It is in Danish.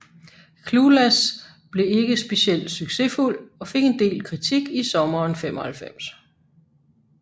Clueless blev ikke speciel succesfuld og fik en del kritik i sommeren 1995